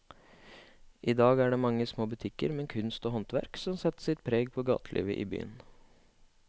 I dag er det de mange små butikkene med kunst og håndverk som setter sitt preg på gatelivet i byen.